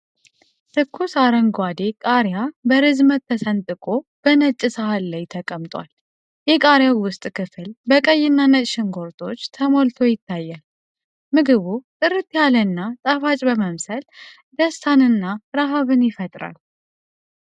ትኩስ፣ አረንጓዴ ቃሪያ በርዝመት ተሰንጥቆ በነጭ ሳህን ላይ ተቀምጧል። የቃሪያው ውስጥ ክፍል በቀይ እና ነጭ ሽንኩርቶች ተሞልቶ ይታያል። ምግቡ ጥርት ያለ እና ጣፋጭ በመምሰል ደስታን እና ረሃብን ይፈጥራል።